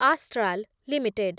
Astral limited